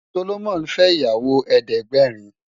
Solomon fè iyàwó èédègbèrín